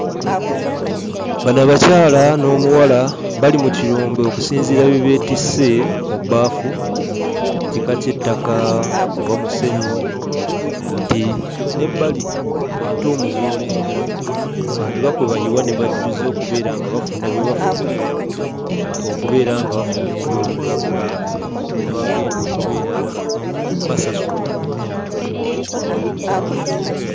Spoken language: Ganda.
Bano abakyala n'omuwala bali mu kirombe okusinziira bye beetisse mu bbaafu, kika ky'ettaka oba musenyu nti n'ebbali entuumu z'olengera bandiba kwe bayiwa ne bajjuza okubeera nga bafuna bye bafuna okubeera nga bafuna ebyobugagga bye bagenda okubeera nga basasulwa.